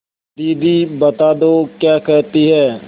दीदी बता दो क्या कहती हैं